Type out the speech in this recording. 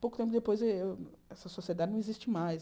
Pouco tempo depois, eh essa sociedade não existe mais.